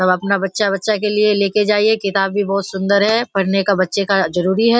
सब अपना बच्चा-बच्चा के लिए लेके जाइए किताब भी बहुत सुंदर है पढ़ने का बच्चे का जरूरी है।